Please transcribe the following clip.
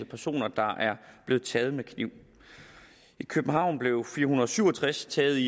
personer der er blevet taget med kniv i københavn blev fire hundrede og syv og tres taget